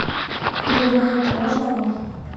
я думаю это важно вам